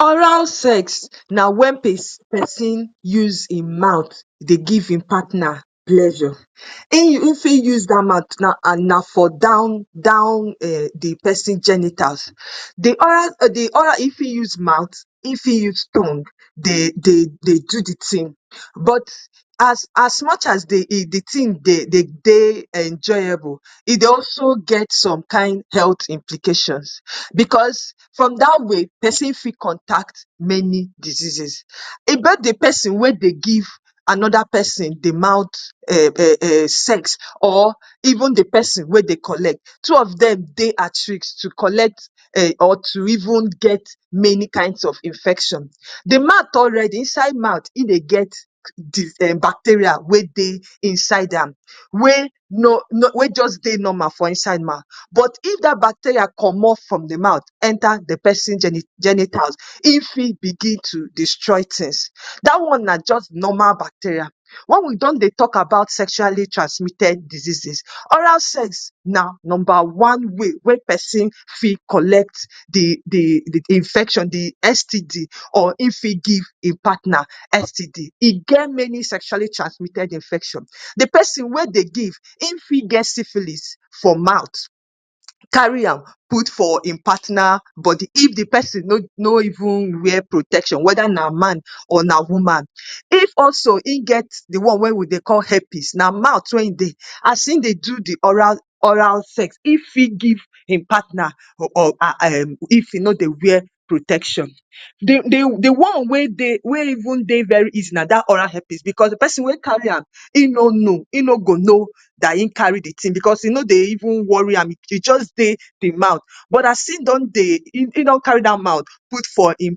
Oral sex na when person use e mouth dey give im partner pleasure. E fit use dat mouth and na for down down um the person genitals. The oral, the oral e fit use mouth, e fit use tongue dey dey dey do the thing. But as as much as dey e the thing dey dey enjoyable, e dey also get some kind health implications because from dat way, pesin fit contact many diseases. About the person wey dey give another person, the mouth um sex or even the pesin wey dey collect. Two of dem, dey at risk to collect um or to even get many kinds of infection. The mouth already, inside mouth, e dey get the um bacteria wey dey inside am. Wey no wey just dey normal for inside mouth. But if dat bacteria comot from the mouth, enter the person genitals, e fit begin to destroy things. Dat one na just normal bacteria. When we don dey talk about sexually transmitted diseases, oral sex na number one way, wey pesin fit collect the the infection, the STD, or if e give e partner STD. E get many sexually transmitted infection. The person wey dey give, en fit get syphilis fir mouth, carry am put for im partner body. if the pesin no no even wear protection, whether na man or na woman. If also, he get the one wey we dey call herpes. Na mouth wey e dey. As e dey do the oral oral sex. If he give him partner um if e no dey wear protection. The the the one wey dey wey even dey very easy na dat oral herpes because the pesin wey carry am, e no know. E no go know dat e carry the thing because e no dey even worry am. E just dey the mouth. But as im don dey, e e don carry dat mouth, put for im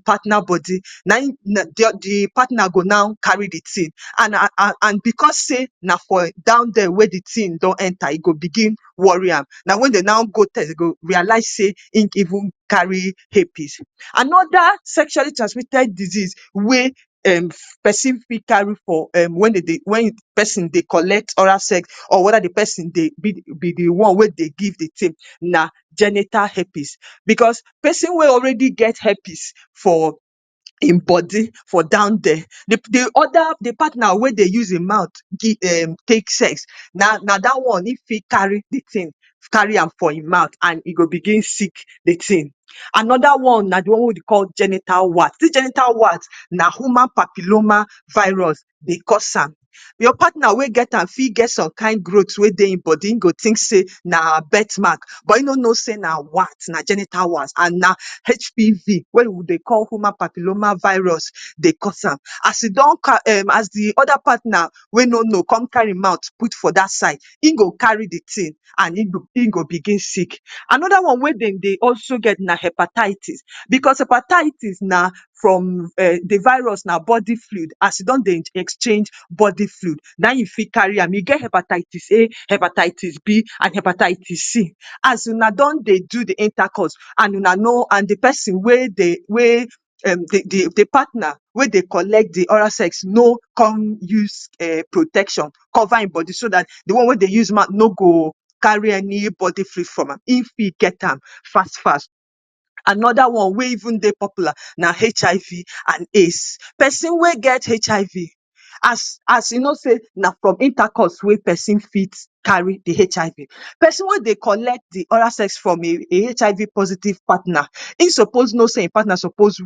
partner body. Na im, the the partner go now carry the thing. And and and because sey, na for down dere wey the thing don enter, e go begin worry am. Na when de now go test, they go realize sey, im even carry herpes. Another sexually transmitted disease wey um pesin fit carry for um when de dey when pesin dey collect oral sex, or whether the pesin dey be the one wey dey give the thing na genital herpes. Because pesin wey already get herpes for im body, for down dere. The the other the partner wey dey use e mouth, give um take sex, na na dat one, e fit carry the thing, carry am for im mouth and he go begin sick the thing. Another one na the one wey dey call genital wart. Dis genital wart, na human papilloma virus dey cause am. Your partner wey get am fit get some kind growths wey dey e body. im go sey, na birthmark. But im no know sey na wart, na genital warts and na HPV, wey we dey call human papilloma virus dey cause am. As e don um as the other partner wey no know con carry e mouth put for dat side, im go carry the thing and he go he go begin sick. Another one wey de dey also get na hepatitis. Because hepatitis na from um the virus, na body fluid. As he don dey exchange body fluid, na im you fit carry am. E get hepatitis A, hepatitis B, and hepatitis C. As una don dey do the intercourse and una no and the person wey dey wey um the the partner wey dey collect the oral sex, no come use um protection cover im body so dat the one wey dey use mouth, no go carry any body fluid from am. If he fit get am fast fast. Another one wey even dey popular na HIV and AIDS. Pesin wey get HIV, as as e know sey, na from intercourse wey pesin fit carry the HIV. Pesin wey dey collect the oral sex from, e HIV positive partner e suppose know sey e partner suppose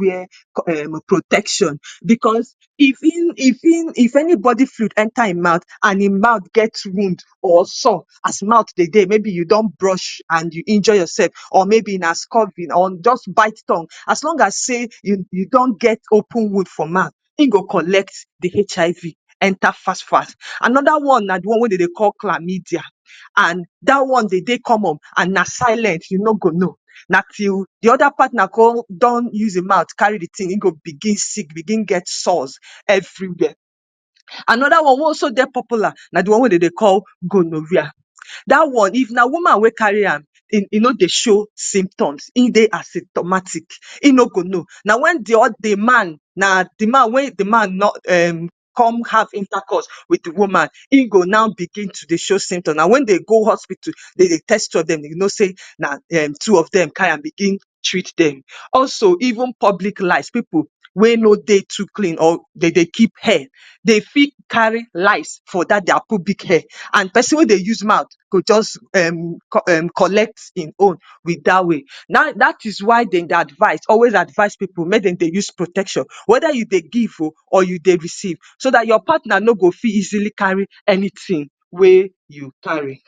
wear um protection. Because if e if e if anybody fluid enter e mouth and e mouth get wound, or sore. As mouth dey dey, maybe you don brush and you injure yourself or maybe na scoffing or just bite tongue. As long as say, you you don get open wound for mouth. im go collect the HIV enter fast, fast. Another one na the one wey de dey call chlamydia. And dat one dey dey comon and na silent, you no go know. Na till the other partner con don use e mouth carry the thing. E go begin sick, begin get sores everywhere. Another one wey also dey popular, na the one wey de dey call gonorrhoea. Dat one, if na woman wey carry am, e e no dey show symptoms. E dey asymptomatic, he no go know. Na when the the man, na the man wey the man no um come have intercourse with the woman, im go now begin to dey show symptoms. Na when they go hospital, they dey test two of dem, you know sey, na um two of dem carry am, begin treat dem. Also, even public lice, pipu wey no dey too clean or de dey keep hair. They fit carry lice for dat their pubic hair. And person wey dey use mouth, go just um collect e own with dat way. Dat dat is why de dey advise, always advise pipu, make de dey use protection. Whether you dey give oh or you dey receive. So dat your partner no go fit easily carry anything wey you carry.